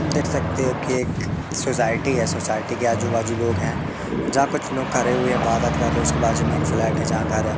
देख सकते हो कि एक सोसाइटी है सोसाइटी के आजू बाजू लोग हैं जहां कुछ लोग खरे हुए बात वात कर रे उसके बाजू में एक फ्लैट है जहाँ घर है।